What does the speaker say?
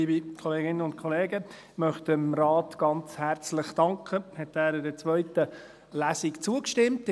Ich möchte dem Rat ganz herzlich danken, dass er der zweiten Lesung zugestimmt hat.